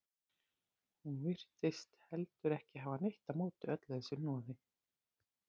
Hún virtist heldur ekki hafa neitt á móti öllu þessu hnoði.